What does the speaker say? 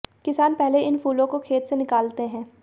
किसान पहले इन फूलों को खेत से निकालते हैं